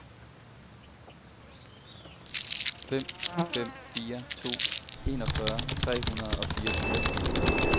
fem fem fire to enogfyrre tre hundrede og fireogtyve